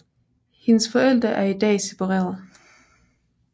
Hendes forældre er i dag separeret